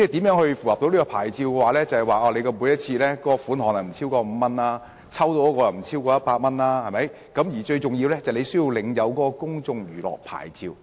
要符合牌照要求，每次涉及的款項不應超過5元，獎品的價值也不應超過100元，最重要的是要領有公眾娛樂場所牌照。